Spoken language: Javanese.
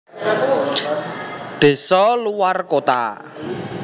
Desa luwar kota